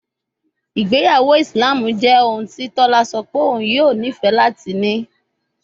Igbeyawo Islam jẹ ohun ti tola sọ pe oun yoo nifẹ lati ni